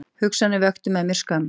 Hugsanirnar vöktu með mér skömm.